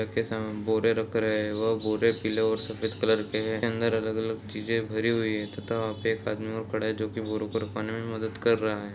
Truck के सामने बोरे रख रहे हैं वो बोरे पीले और सफेद कलर के हैं अंदर अलग-अलग चीजे भरी हुई है तथा वहां पर एक आदमी और खड़ा है जो कि मदद कर रहा है।